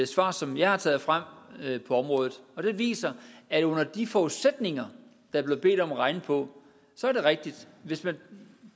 svar som jeg har taget frem på området det viser at under de forudsætninger man blev bedt om at regne på er det rigtigt hvis det